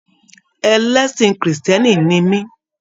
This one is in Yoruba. Ẹlẹsin kírísítẹ́nì ní mi.